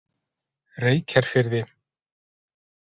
Reykjarfirði